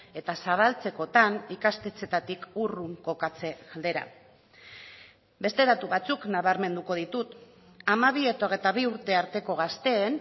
eta zabaltzekotan ikastetxeetatik urrun kokatze aldera beste datu batzuk nabarmenduko ditut hamabi eta hogeita bi urte arteko gazteen